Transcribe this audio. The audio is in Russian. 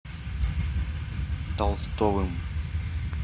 толстовым